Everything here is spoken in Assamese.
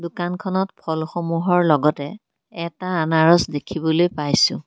দোকানখনত ফল সমূহৰ লগতে এটা আনাৰাস দেখিবলৈ পাইছোঁ।